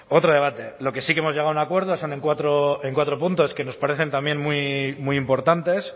otro debate lo que sí que hemos llegado a un acuerdo son en cuatro puntos que nos parecen también muy importantes